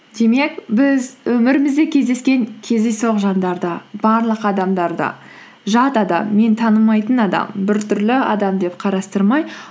демек біз өмірімізде кездескен кездейсоқ жандарды барлық адамдарды жат адам мен танымайтын адам біртүрлі адам деп қарастырмай